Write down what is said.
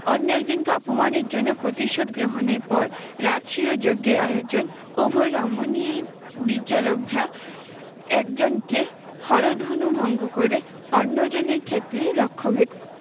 অন্য একজনকে অপমানের জন্য প্রতিশোধ গ্রহণের পর রাজসূয় যজ্ঞের আয়োজন উভয় রমণীই একজনকে হরধনু ভঙ্গ করে অন্যজনের ক্ষেত্রে লক্ষ্যভেদ